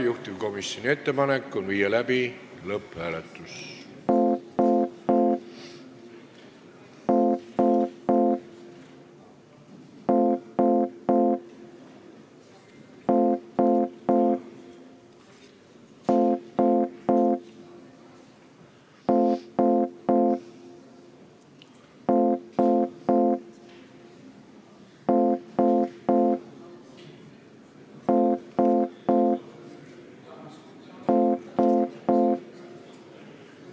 Juhtivkomisjoni ettepanek on viia läbi lõpphääletus.